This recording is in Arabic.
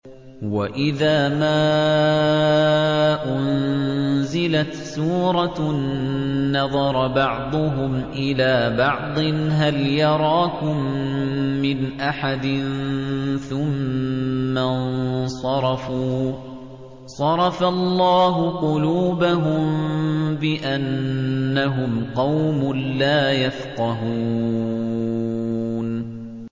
وَإِذَا مَا أُنزِلَتْ سُورَةٌ نَّظَرَ بَعْضُهُمْ إِلَىٰ بَعْضٍ هَلْ يَرَاكُم مِّنْ أَحَدٍ ثُمَّ انصَرَفُوا ۚ صَرَفَ اللَّهُ قُلُوبَهُم بِأَنَّهُمْ قَوْمٌ لَّا يَفْقَهُونَ